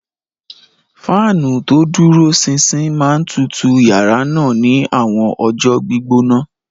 Fáànù tó dúró ṣinṣin máa ń tutù yàrá náà ní àwọn ọjọ́ gbígbóná.